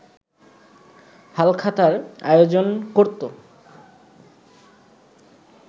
হালখাতার আয়োজন করতো